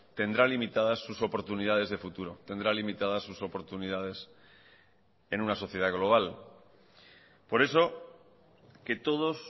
tendrá limitadas sus oportunidades de futuro tendrá limitadas sus oportunidades en una sociedad global por eso que todos